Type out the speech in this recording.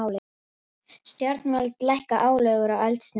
Stjórnvöld lækki álögur á eldsneyti